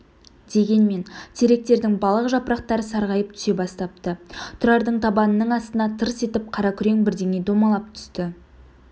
дегенмен теректердің балақ жапырақтары сарғайып түсе бастапты тұрардың табанының астына тырс етіп қаракүрең бірдеңе домалап түсті